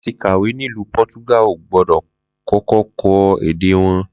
Lati kàwé nílúú Po̩túgà, o gbó̩dò̩ ko̩ko̩ kó̩ èdè wo̩n